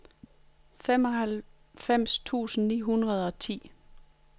femoghalvfems tusind ni hundrede og ti